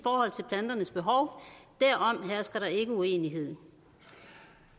planternes behov derom hersker der ikke uenighed